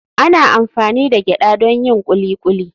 Ana amfani da gyada don yin kuli kuli.